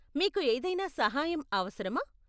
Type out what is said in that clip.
మీకు ఏదైనా సహాయం అవసరమా?